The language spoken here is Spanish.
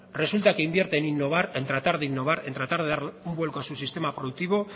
resulta que invierte en innovar en tratar de innovar en tratar de dar un vuelco a su sistema productivo